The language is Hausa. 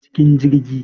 Shiga cikin jirgi